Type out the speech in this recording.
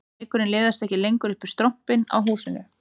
Reykurinn liðast ekki lengur upp um strompinn á húsinu